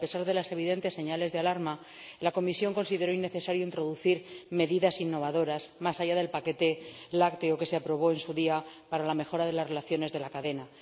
Pero, a pesar de las evidentes señales de alarma, la Comisión consideró innecesario introducir medidas innovadoras, más allá del paquete lácteo que se aprobó en su día para la mejora de las relaciones de la cadena.